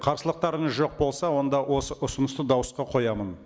қарсылықтарыңыз жоқ болса онда осы ұсынысты дауысқа қоямын